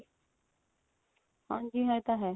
ਹਾਂਜੀ ਇਹ ਤਾਂ ਹੈ